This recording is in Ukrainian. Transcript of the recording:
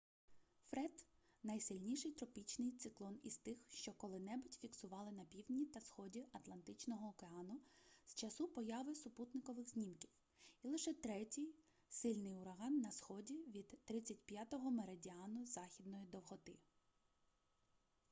фред найсильніший тропічний циклон із тих що коли-небудь фіксували на півдні та сході атлантичного океану з часу появи супутникових знімків і лише третій сильний ураган на сході від 35-го меридіану західної довготи